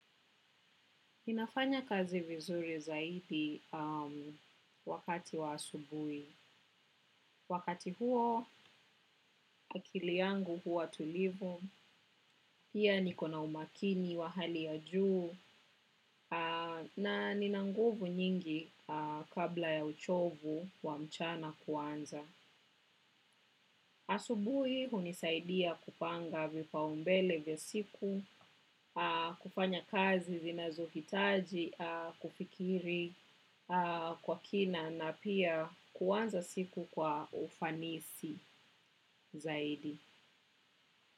Ninafanya kazi vizuri zaidi wakati wa asubuhi. Wakati huo, akili yangu huwa tulivu, pia niko na umakini wa hali ya juu, na nina nguvu nyingi kabla ya uchovu wa mchana kuanza. Asubuhi hunisaidia kupanga vipaumbele vya siku, kufanya kazi zinazohitaji, kufikiri kwa kina na pia kuanza siku kwa ufanisi zaidi.